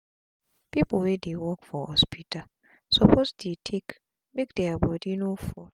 pipu wey dey work for hospital suppose dey take make dia bodi no fall